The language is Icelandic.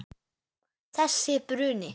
Þessi bruni.